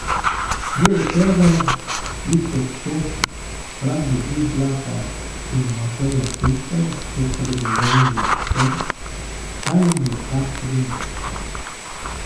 Miro Cerar, Iztok Čop, Franjo Izlakar in Mateja Pintar so spregovorili o tem, kaj jim je ta prinesla.